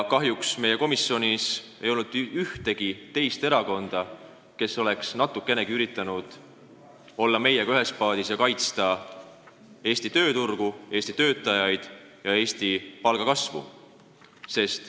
Kahjuks ei ole meie komisjonis ühegi teise erakonna liikmeid, kes oleks natukenegi üritanud olla meiega ühes paadis ja kaitsta Eesti tööturgu, Eesti töötajaid ja Eesti palgakasvu.